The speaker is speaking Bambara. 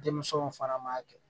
Denmisɛnw fana ma